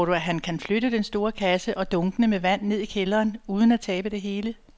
Tror du, at han kan flytte den store kasse og dunkene med vand ned i kælderen uden at tabe det hele?